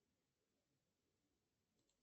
сделайте пожалуйста